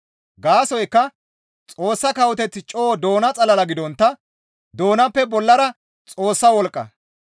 Gaasoykka Xoossa kawoteththi coo doona xalala gidontta doonappe bollara Xoossa wolqqa.